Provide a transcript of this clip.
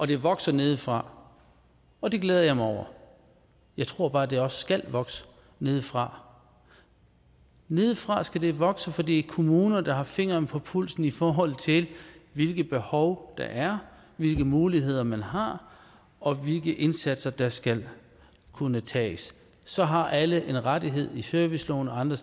det vokser nedefra og det glæder jeg mig over jeg tror bare det også skal vokse nedefra nedefra skal det vokse for det er kommunerne der har fingeren på pulsen i forhold til hvilke behov der er hvilke muligheder man har og hvilke indsatser der skal kunne tages så har alle en rettighed serviceloven og andre